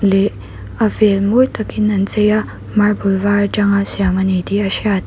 leh a vel mawi takin an chei a marble var aṭanga siam a ni tih a hriat l--